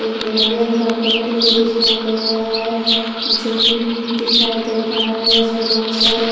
एक नारियल का पेड़ भी दिखाई दे रहा है जमीन दिखाई दे रहा है उसमें बहुत सारे--